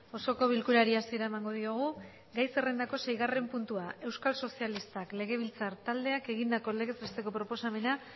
osoko bilkurari hasiera emango diogu gai zerrendako seigarren puntua euskal sozialistak legebiltzar taldeak egindako legez besteko proposamena